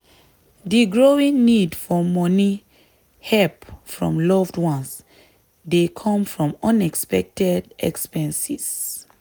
di growing need for money help from loved ones dey come from unexpected expenses.